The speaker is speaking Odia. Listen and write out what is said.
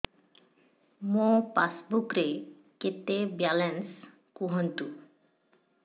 ମୋ ପାସବୁକ୍ ରେ କେତେ ବାଲାନ୍ସ କୁହନ୍ତୁ